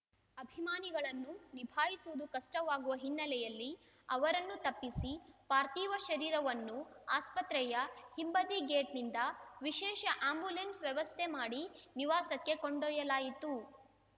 ಅಭಿಮಾನಿಗಳನ್ನು ನಿಭಾಯಿಸುವುದು ಕಷ್ಟವಾಗುವ ಹಿನ್ನೆಲೆಯಲ್ಲಿ ಅವರನ್ನು ತಪ್ಪಿಸಿ ಪಾರ್ಥಿವ ಶರೀರವನ್ನು ಆಸ್ಪತ್ರೆಯ ಹಿಂಬದಿ ಗೇಟ್‌ನಿಂದ ವಿಶೇಷ ಆಂಬ್ಯುಲೆನ್ಸ್‌ ವ್ಯವಸ್ಥೆ ಮಾಡಿ ನಿವಾಸಕ್ಕೆ ಕೊಂಡೊಯ್ಯಲಾಯಿತು